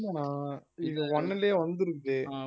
இல்லனா இது one லயே வந்திருக்கு